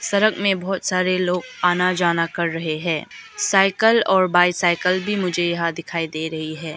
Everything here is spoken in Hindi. इस तरफ में बहुत सारे लोग आना जाना कर रहे हैं साइकिल और बाइसाइकिल भी मुझे यहां दिखाई दे रही है।